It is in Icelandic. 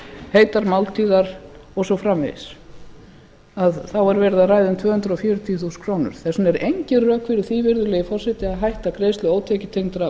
heitar máltíðir og svo framvegis þá er verið að ræða um tvö hundruð fjörutíu þúsund krónur þess vegna er engin rök fyrir því virðulegi forseti að hætta greiðslum ótekjutengdra